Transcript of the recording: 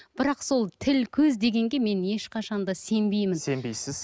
бірақ сол тіл көз дегенге мен ешқашан да сенбеймін сенбейсіз